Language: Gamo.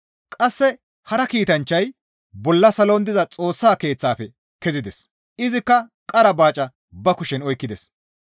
Qasse hara kiitanchchay bolla salon diza Xoossa Keeththafe kezides; izikka qara baaca ba kushen oykkides.